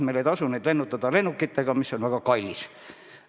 Meil ei tasu neid lennutada lennukitega, mis on väga kallis.